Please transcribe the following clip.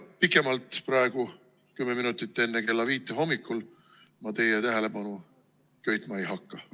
Pikemalt ma praegu, kümme minutit enne kella viit hommikul teie tähelepanu köitma ei hakka.